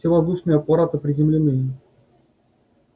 все воздушные аппараты приземлены